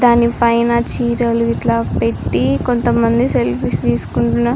దాని పైన చీరలు ఇట్లా పెట్టి కొంత మంది సెల్ఫీస్ తీస్తున్నారు.